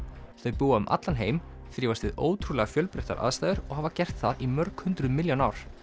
þau búa um allan heim þrífast við ótrúlega fjölbreytilegar aðstæður og hafa gert það í mörg hundruð milljón ár